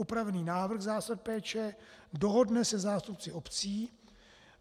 Upravený návrh zásad péče dohodne se zástupci obcí.